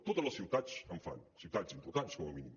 totes les ciutats en fan ciutats importants com a mínim